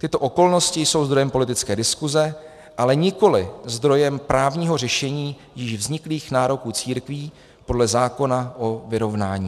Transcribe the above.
Tyto okolnosti jsou zdrojem politické diskuse, ale nikoli zdrojem právního řešení již vzniklých nároků církví podle zákona o vyrovnání.